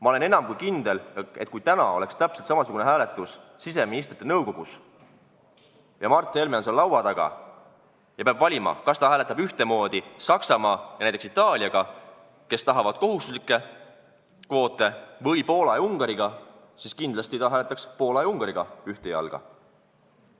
Ma olen enam kui kindel, et kui täna oleks täpselt samasugune hääletus siseministrite nõukogus, Mart Helme oleks seal laua taga ja peaks valima, kas ta hääletab ühtemoodi Saksamaa ja näiteks Itaaliaga, kes tahavad kohustuslikke kvoote, või Poola ja Ungariga, siis kindlasti hääletaks ta ühtemoodi Poola ja Ungariga.